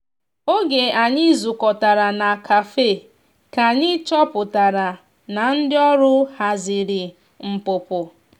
oge anyi zu kọtara na kafe ka anyi chọpụtara na ndi ọrụ hazịrị npụpụ.